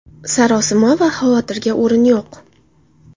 Sarosima va xavotirga o‘rin yo‘q.